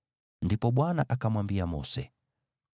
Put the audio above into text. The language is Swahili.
Ndipo Bwana akamwambia Mose: